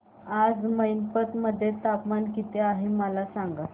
आज मैनपत मध्ये तापमान किती आहे मला सांगा